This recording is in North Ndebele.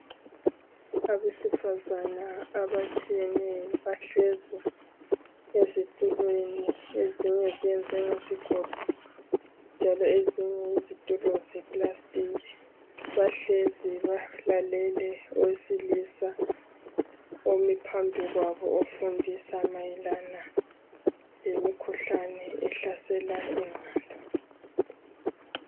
Abesifazana abatshiyeneyo bahlezi ezitulweni. Ezinye ziyenziwe ngezigodo, njalo ezinye yizitulo zeplastiki. Bahlezi balalele owesilisa omi phambi kwabo ofundisa mayelana lemikhuhlane ehlasela ingqondo.